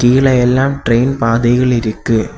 இதுல எல்லாம் ட்ரெயின் பாதைகள் இருக்கு.